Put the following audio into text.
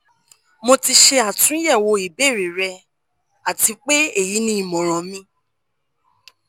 mo ti ṣe atunyẹwo ibeere rẹ ati pe eyi ni imọran mi